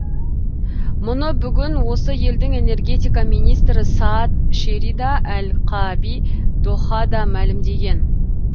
мұны бүгін осы елдің энергетика министрі саад шерида әл қааби дохада мәлімдеген